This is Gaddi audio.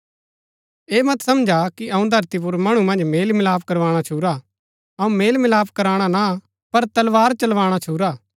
ऐह मत समझा कि अऊँ धरती पुर मणु मन्ज मेल मिलाप करवाणा छुरा अऊँ मेल मिलाप कराणा ना पर तलवार चलवाणा छुरा